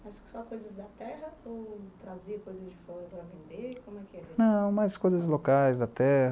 Mas só coisas da terra ou trazia coisas de fora para vender cono que era? Não, mais coisas locais da terra